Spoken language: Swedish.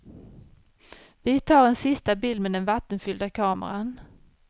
Vi tar en sista bild med den vattenfyllda kameran.